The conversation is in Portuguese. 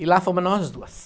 E lá fomos nós duas.